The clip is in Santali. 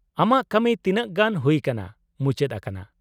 ᱟᱢᱟᱜ ᱠᱟᱹᱢᱤ ᱛᱤᱱᱟᱹᱜ ᱜᱟᱱ ᱦᱩᱭ ᱠᱟᱱᱟ ᱢᱩᱪᱟᱹᱫ ᱟᱠᱟᱱᱟ ?